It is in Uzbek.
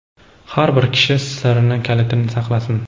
har bir kishi sirining kalitini saqlasin.